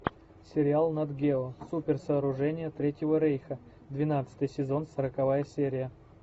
сериал натгео суперсооружения третьего рейха двенадцатый сезон сороковая серия